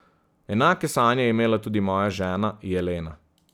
Enake sanje je imela tudi moja žena Jelena.